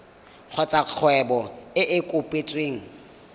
kgotsa kgwebo e e kopetsweng